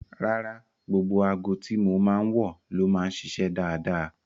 Rárá, gbogbo aago tí mo máa ń wọ̀ ló máa ń ṣiṣẹ́ dáadáa